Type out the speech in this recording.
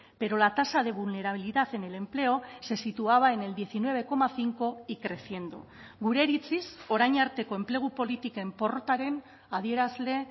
pero la tasa de vulnerabilidad en el empleo se situaba en el diecinueve coma cinco y creciendo gure iritziz orain arteko enplegu politiken porrotaren adierazle